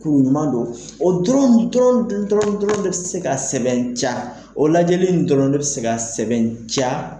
Ɲuman don. O dɔrɔn dɔrɔn dɔrɔn dɔrɔn de be se ka sɛbɛntiya, o lajɛli in dɔrɔn be se ka sɛbɛntiya.